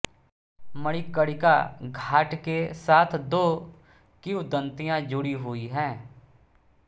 मणिकर्णिका घाट के साथ दो किंवदंतियाँ जुड़ी हुई हैं